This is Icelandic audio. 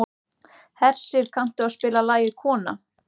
Hersir, kanntu að spila lagið „Kona“?